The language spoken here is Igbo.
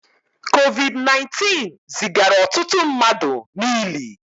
COVID 19 zigara ọtụtụ mmadụ n'ili